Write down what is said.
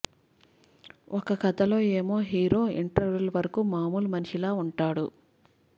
ఒక కథలో ఏమో హీరో ఇంటర్వెల్ వరకు మాములు మనిషిలా ఉంటాడు